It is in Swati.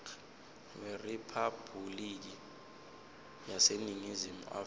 weriphabhuliki yaseningizimu afrika